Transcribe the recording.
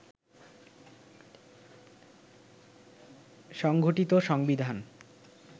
সংঘটিত সংবিধান